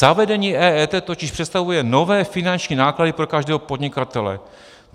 Zavedení EET totiž představuje nové finanční náklady pro každého podnikatele.